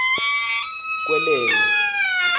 kwelenge